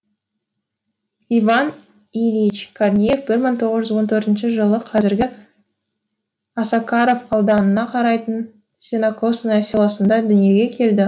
иван ильич корнеев бір мың тоғыз жүз он төртінші жылы қазіргі осакаров ауданына қарайтын сенокосное селосында дүниеге келді